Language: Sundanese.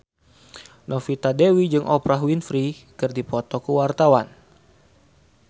Novita Dewi jeung Oprah Winfrey keur dipoto ku wartawan